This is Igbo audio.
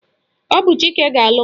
Ọ bụ Chike ga-alụ m